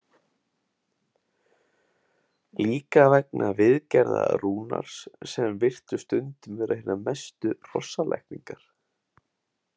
Líka vegna viðgerða Rúnars sem virtust stundum vera hinar mestu hrossalækningar.